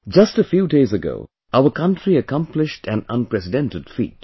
Just a few days ago, our country accomplished an unprecedented feat